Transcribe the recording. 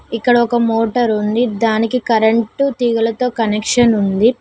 ఇక్కడ ఒక మోటర్ ఉంది దానికి కరెంటు తీగలతో కనెక్షన్ ఉంది.